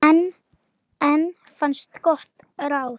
Enn fannst gott ráð.